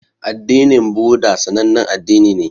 Addinin buddha sanannen addini ne